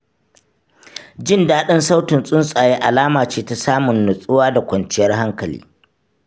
Jin daɗin sautin tsuntsaye alama ce ta samun nutsuwa da kwanciyar hankali.